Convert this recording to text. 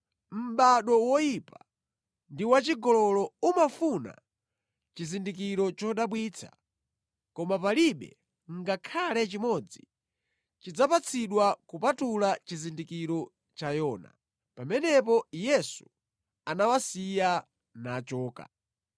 Mʼbado woyipa ndi wachigololo umafuna chizindikiro chodabwitsa koma palibe ngakhale chimodzi chidzapatsidwa kupatula chizindikiro cha Yona.” Pamenepo Yesu anawasiya nachoka.